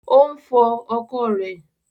Ò ń fọ ọkọ̀ rẹ̀